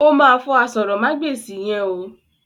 O ma fọ àsòrọmagbesi yẹn o.